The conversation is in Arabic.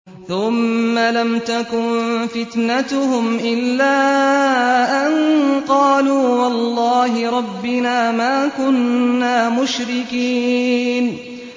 ثُمَّ لَمْ تَكُن فِتْنَتُهُمْ إِلَّا أَن قَالُوا وَاللَّهِ رَبِّنَا مَا كُنَّا مُشْرِكِينَ